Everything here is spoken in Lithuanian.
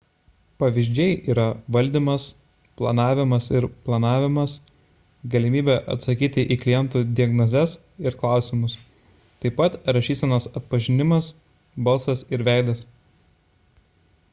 pavyzdžiai yra valdymas planavimas ir planavimas galimybė atsakyti į klientų diagnozes ir klausimus taip pat rašysenos atpažinimas balsas ir veidas